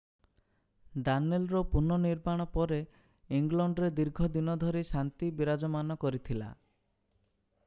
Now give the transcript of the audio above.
ଡାନେଲର ପୁନଃ ନିର୍ମାଣ ପରେ ଇଂଲଣ୍ଡରେ ଦୀର୍ଘ ଦିନ ଧରି ଶାନ୍ତି ବିରାଜମାନ କରିଥିଲା